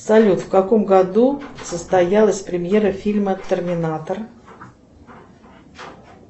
салют в каком году состоялась премьера фильма терминатор